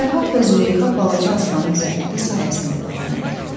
Fərhad və Züleyxa balaca Aslanın zəhməti sayəsində dolanırdı.